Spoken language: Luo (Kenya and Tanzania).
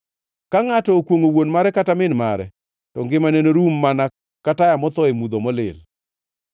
Ka ngʼato okwongʼo wuon mare kata min mare, to ngimane norum mana ka taya motho e mudho molil.